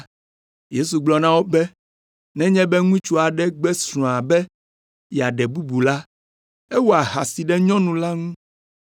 Yesu gblɔ na wo be, “Nenye be ŋutsu aɖe gbe srɔ̃a be yeaɖe bubu la, ewɔ ahasi ɖe nyɔnu la ŋu.